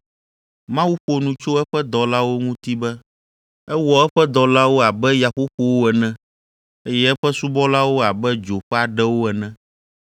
Mawu ƒo nu tso eƒe dɔlawo ŋuti be, “Ewɔ eƒe dɔlawo abe yaƒoƒowo ene, eye eƒe subɔlawo abe dzo ƒe aɖewo ene.”